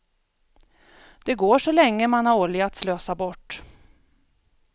Det går så länge man har olja att slösa bort.